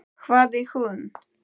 hváði hún.